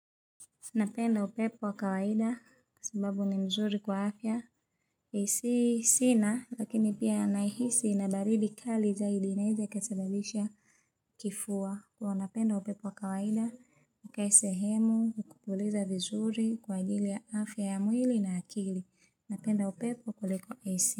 Napenda upepo wa kawaida, kwa sababu ni mzuri kwa afya. Si sina, lakini pia nahisi ina baridi kali zaidi inaweza ikasababisha kifua. Kwa hiyo napenda upepo wa kawaida, nikae sehemu, ukupuliza vizuri kwa ajili ya afya ya mwili na akili. Napenda upepo kuliko asi.